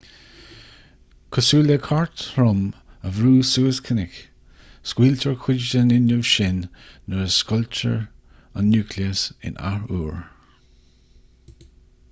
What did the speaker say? cosúil le cairt throm a bhrú suas cnoc scaoiltear cuid den fhuinneamh sin nuair a scoiltear an núicléas in athuair